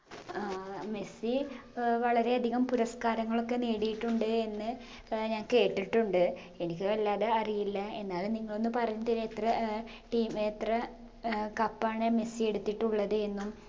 ആഹ് Messi ഏർ വളരെ അധികം പുരസ്കാരങ്ങളൊക്കെ നേടിയിട്ടുണ്ട് എന്ന് ഏർ ഞാൻ കേട്ടിട്ടുണ്ട് എനിക്ക് വല്ലാതെ അറിയില്ല എന്നാലും നിങ്ങളൊന്ന് പറഞ്ഞ് തരു എത്ര ഏർ team എത്ര ഏർ cup ആണ് മെസ്സി എടുത്തിട്ടുള്ളത് എന്നും